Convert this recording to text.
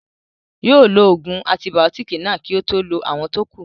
Yóò lo ògùn antibàótìkì náà kí ó tó lo àwọn tó kù